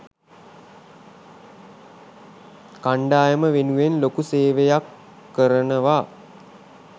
කණ්ඩායම වෙනුවෙන් ලොකු සේවයක් කරනවා.